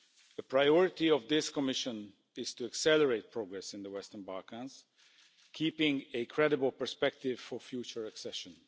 The priority of this Commission is to accelerate progress in the Western Balkans, keeping a credible perspective for future accession.